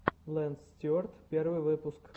лэнс стюарт первый выпуск